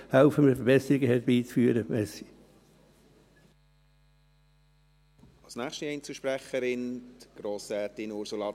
Helfen wir, Verbesserungen herbeizuführen, vielen Dank.